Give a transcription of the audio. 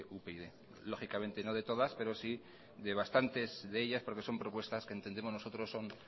upyd lógicamente no de todas pero sí de bastante de ellas porque son propuestas que entendemos nosotros son